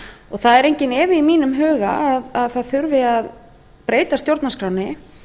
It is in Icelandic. það er enginn efi í mínum huga að það þurfi að breyta stjórnarskránni